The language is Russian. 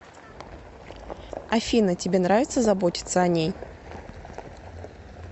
афина тебе нравится заботится о ней